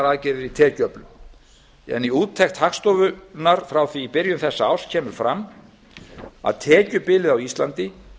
aðgerðir í tekjuöflun í úttekt hagstofunnar frá því í byrjun þessa árs kemur eftirfarandi fram með leyfi forseta tekjubil á íslandi